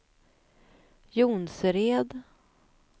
Jonsered